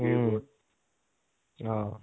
হম, অহ